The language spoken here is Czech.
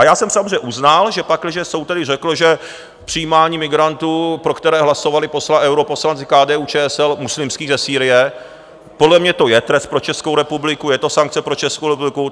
A já jsem samozřejmě uznal, že pakliže soud tedy řekl, že přijímání migrantů, pro které hlasovali europoslanci KDU-ČSL, muslimských ze Sýrie, podle mě to je trest pro Českou republiku, je to sankce pro Českou republiku.